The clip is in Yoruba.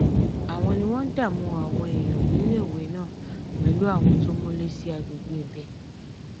àwọn ni wọn ní wọn ń dààmú àwọn èèyàn níléèwé náà pẹlú àwọn tó múlé sí àgbègbè ibẹ